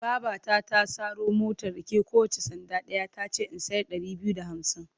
Babata ta saro motar rake kowacce sanda ɗaya ta ce in sayar ɗari biyu da hamsin.